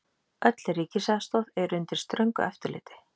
Öll ríkisaðstoð er undir ströngu eftirliti.